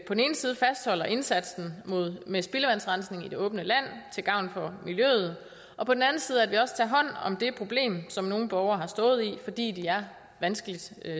den ene side fastholder indsatsen med spildevandsrensning i det åbne land til gavn for miljøet og på den anden side at vi også tager hånd om det problem som nogle borgere har stået i fordi de er vanskeligt